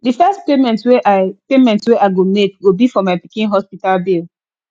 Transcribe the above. the first payment wey i payment wey i go make go be for my pikin hospital bill